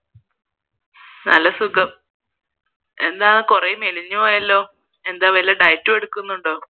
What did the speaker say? നല്ല സുഖം എന്താ കുറെ മെലിഞ്ഞ് പോയല്ലോ എന്താ വല്ല diet എടുക്കുന്നുണ്ടോ